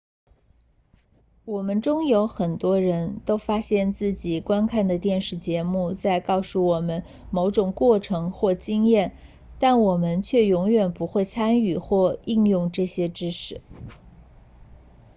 我们中有很多人都发现自己观看的电视节目在告诉我们某种过程或经验但我们却永远不会参与或应用这些知识